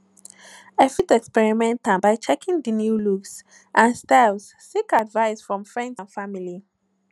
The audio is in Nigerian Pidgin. i fit experiment am by checkng di new looks and styles seek advice from friends and family